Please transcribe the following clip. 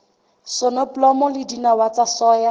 soneblomo le dinawa tsa soya